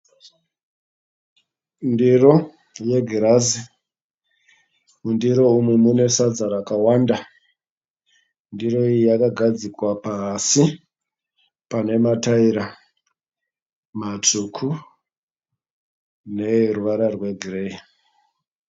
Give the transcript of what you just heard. Ndiro yegirazi. Mundiro umu mune sadza rakawanda. Ndiro iyi yakagadzikwa pasi pane matayera matsvuku neeruvara rwegireyi.